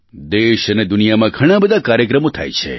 દેશ અને દુનિયામાં ઘણા બધા કાર્યક્રમો થાય છે